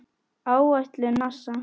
Áætlun NASA